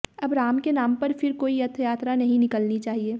अब राम के नाम पर फिर कोई रथयात्रा नहीं निकलनी चाहिए